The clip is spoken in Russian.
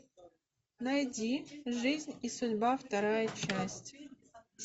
найди жизнь и судьба вторая часть